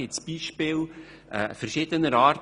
Hierzu bestehen Beispiele verschiedener Art.